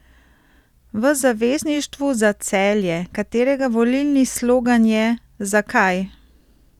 V Zavezništvu za Celje, katerega volilni slogan je Zakaj?